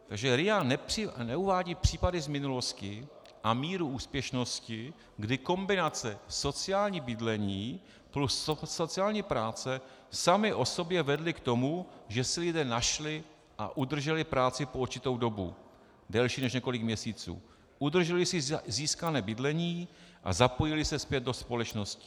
Takže RIA neuvádí případy z minulosti a míru úspěšnosti, kdy kombinace sociální bydlení plus sociální práce sami o sobě vedly k tomu, že si lidé našli a udrželi práci po určitou dobu delší než několik měsíců, udrželi si získané bydlení a zapojili se zpět do společnosti.